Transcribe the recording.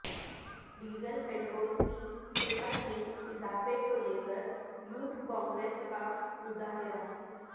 diesel petrol کی قیمت میں اضافہ کو لیکر یوتھ کانگریس کا مظاہرہ